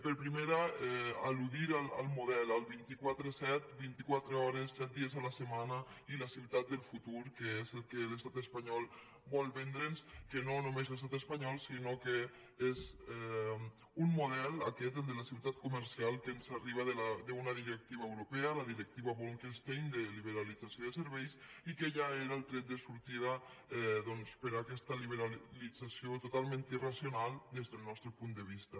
per primera al·ludir al model al vint quatre set vint i quatre hores set dies a la setmana i la ciutat del futur que és el que l’estat espanyol vol vendre’ns que no només l’estat espanyol sinó que és un model aquest el de la ciutat comercial que ens arriba d’una directiva europea la directiva bolkestein de liberalització de serveis i que ja era el tret de sortida doncs per a aquesta liberalització totalment irracional des del nostre punt de vista